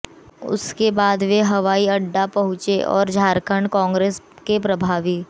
उसके बाद वे हवाई अड्डा पहुँचे और झारखंड कांग्रेस के प्रभारी